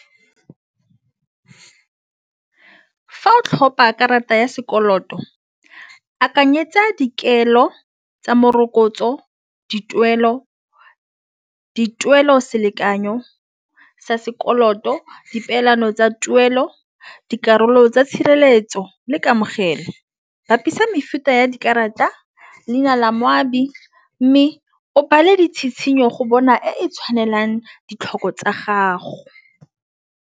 Fa o tlhopa karata ya sekoloto akanyetsa dikelo tsa morokotso, dituelo. Dituelo selekanyo sa sekoloto dipeelano tsa tuelo dikarolo tsa tshireletso le kamogelo. Bapisa mefuta ya dikarata leina la moabi, mme o bala ditshitshinyo go bona e tshwanelang ditlhoko tsa gago.